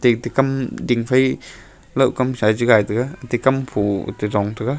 eti kam dingphai lohkam sa chu gai taiga eti kam pho chuchong taiga.